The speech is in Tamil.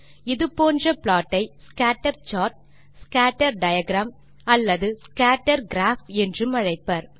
இது போன்ற ப்ளாட் ஐ ஸ்கேட்டர் சார்ட் ஸ்கேட்டர் டயாகிராம் அல்லது ஸ்கேட்டர் கிராப் என்றும் அழைப்பர்